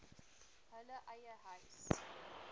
hulle eie huise